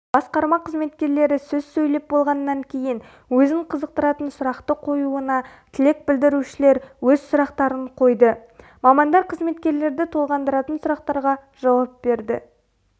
басқарма қызметкерлері сөз сөйлеп болғаннан кейін өзін қызықтыратын сұрақты қоюына тілек білдірушілер өз сұрақтарын қойды мамандар қызметкерлерді толғандыратын сұрақтарға жауап берді